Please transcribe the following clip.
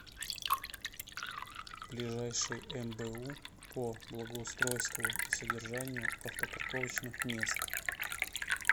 ближайший мбу по благоустройству и содержанию автопарковочных мест